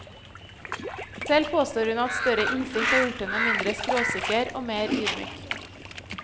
Selv påstår hun at større innsikt har gjort henne mindre skråsikker og mer ydmyk.